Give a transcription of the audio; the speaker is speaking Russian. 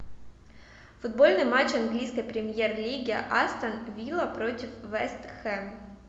футбольный матч английской премьер лиги астон вилла против вест хэм